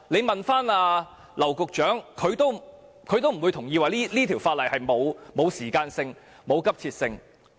大家問劉局長，他不會同意這項《條例草案》沒有時間性和急切性。